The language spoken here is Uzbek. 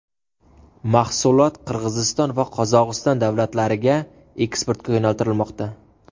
Mahsulot Qirg‘iziston va Qozog‘iston davlatlariga eksportga yo‘naltirilmoqda.